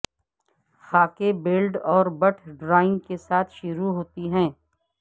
خاکے blade اور بٹ drawing کے ساتھ شروع ہوتی ہے